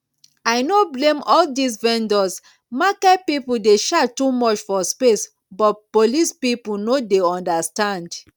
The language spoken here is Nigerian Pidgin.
i no blame all dis vendors market people dey charge too much for space but police people no dey understand